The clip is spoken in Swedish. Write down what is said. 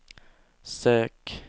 sök